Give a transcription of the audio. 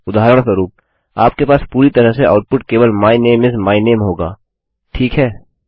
उदाहरणस्वरुप आपके पास पूरी तरह से आउटपुट केवल माय नामे इस माय नामे होगाठीक है